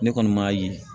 Ne kɔni m'a ye